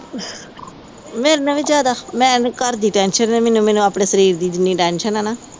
ਮੇਰੇ ਤੋਂ ਵੀ ਜਿਆਦਾ। ਮੈਨੂੰ ਘਰ ਦੀ ਇੰਨੀ ਟੈਂਸ਼ਨ ਨੀ, ਜਿੰਨੀ ਆਪਣੇ ਸਰੀਰ ਦੀ ਟੈਂਸ਼ਨ ਆ ਨਾ।